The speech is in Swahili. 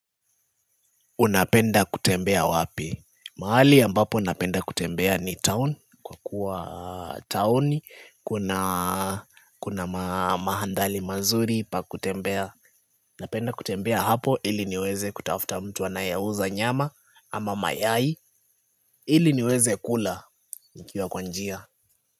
Unapenda kutembea wapi? Mahali ambapo napenda kutembea ni town kwa kuwa town, kuna mandhari mazuri pa kutembea napenda kutembea hapo ili niweze kutafuta mtu anayeuza nyama ama mayai ili niweze kula nikiwa kwa njia.